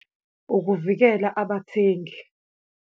Ukuvikela abathengi.